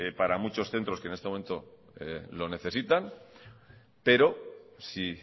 para muchos centros que en este momento lo necesitan pero si